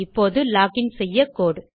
இப்போது லோகின் செய்ய கோடு